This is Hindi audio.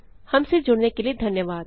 हमसे जुड़ने के लिए धन्यवाद